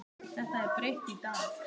Þetta er breytt í dag.